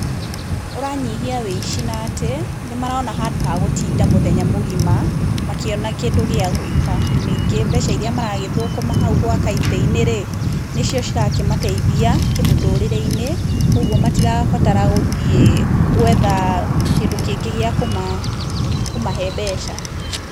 Ũranyihia ũici na atĩ, nĩmarona handũ ha gũtinda mũthenya mũgima makĩona kĩndũ gĩa gwĩka. Ningĩ mbeca iria maragĩthũkũma hau gwaka itĩ-inĩ rĩ nĩcio cirakĩmateithia kĩmũtũrĩre-inĩ kũoguo matirabatara gũthiĩ, gwetha kĩndũ kĩngĩ gĩa kũmahe mbeca.